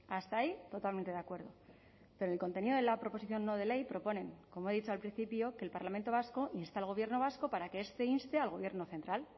hasta ahí totalmente de acuerdo pero en el contenido de la proposición no de ley proponen como he dicho al principio que el parlamento vasco inste al gobierno vasco para que este inste al gobierno central